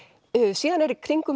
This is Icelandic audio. síðan eru í kringum